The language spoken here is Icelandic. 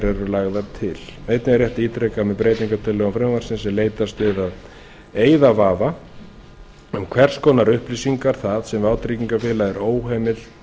eru lagðar til einnig er rétt að ítreka að með breytingartillögum frumvarpsins er leitast við að eyða vafa um hvers konar upplýsingar það sem vátryggingafélag er